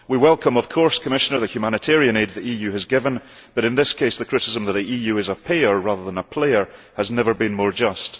We welcome, of course, Commissioner, the humanitarian aid the EU has given, but in this case the criticism of the EU as a payer rather than a player has never been more just.